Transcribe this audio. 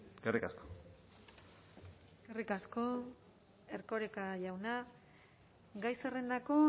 eskerrik asko eskerrik asko erkoreka jauna gai zerrendako